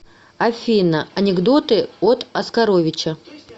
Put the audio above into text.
афина анекдоты от оскаровича